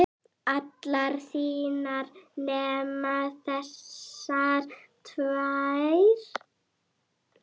allar þínar nema þessar tvær.